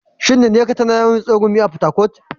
Shin Nneka tana yawan yin tsegumi a Fatakwal?